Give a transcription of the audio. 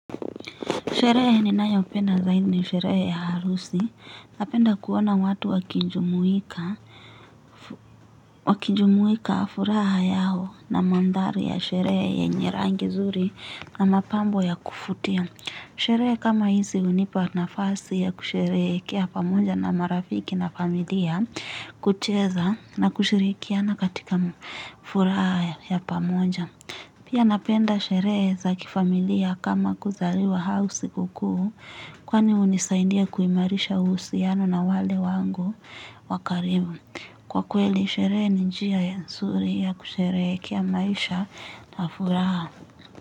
Sherehe ninayopenda zaidi ni sherehe ya harusi. Napenda kuona watu wakijumuika, wakijumuika furaha yao na mandhari ya sherehe yenye rangi nzuri na mapambo ya kuvutia. Sherehe kama hizi hunipa nafasi ya kusherehekea pamoja na marafiki na familia, kucheza na kushirikiana katika furaha ya pamoja. Pia napenda sherehe za kifamilia kama kuzaliwa, au sikukuu kwani hunisaidia kuimarisha uhusiano na wale wangu wakaribu. Kwa kweli sherehe ni njia ya nzuri ya kusherehekea maisha na furaha.